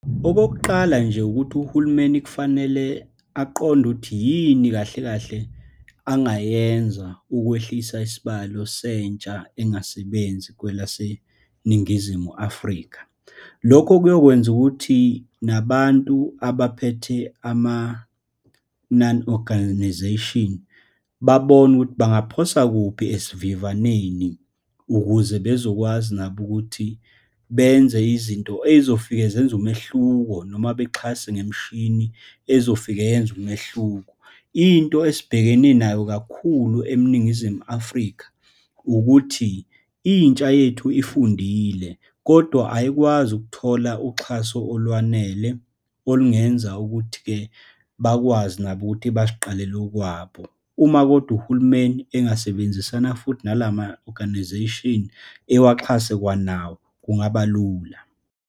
Okokuqala nje, ukuthi uhulumeni kufanele aqonde ukuthi yini kahle kahle angayenza ukwehlisa isibalo sentsha engasebenzi kwelaseNingizimu Afrika. Lokho kuyokwenza ukuthi nabantu abaphethe ama-none organisation babone ukuthi bangaphosa kuphi esivivaneni, ukuze bezokwazi nabo ukuthi benze izinto ey'zofike zenze umehluko, noma bexhase ngemishini ezofike yenze umehluko. Into esibhekene nayo kakhulu eNingizimu Afrika ukuthi, intsha yethu efundile, kodwa ayikwazi ukuthola uxhaso olwanele olungenza ukuthi-ke bakwazi nabo ukuthi baziqalela okwabo. Uma kodwa uhulumeni angasebenzisana futhi nalama-organisation, ewaxhase kwanawo, kungaba lula.